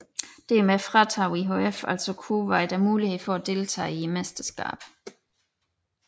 Dermed fratog IHF altså Kuwait muligheden for at deltage i mesterskabet